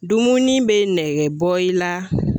Dumuni be nɛgɛ bɔ i la